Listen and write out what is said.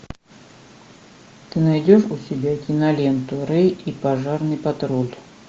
ты найдешь у себя киноленту рэй и пожарный патруль